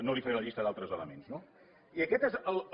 no li faré la llista d’altres elements no i aquest és el